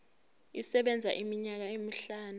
isebenza iminyaka emihlanu